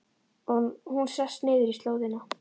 Og hún sest niður í slóðina.